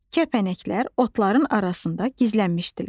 Kəpənəklər otların arasında gizlənmişdilər.